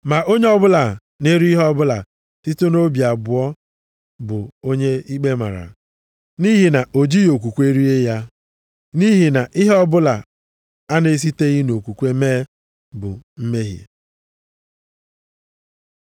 Ma onye ọbụla na-eri ihe ọbụla site nʼobi abụọ bụ onye ikpe mara, nʼihi na ọ jighị okwukwe rie ya, nʼihi na ihe ọbụla a na-esiteghị nʼokwukwe mee bụ mmehie.